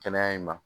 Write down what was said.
Kɛnɛya in ma